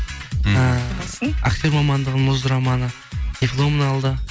ыыы дипломын алды